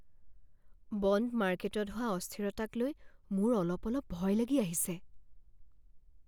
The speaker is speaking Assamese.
বণ্ড মাৰ্কেটত হোৱা অস্থিৰতাক লৈ মোৰ অলপ অলপ ভয় লাগি আহিছে।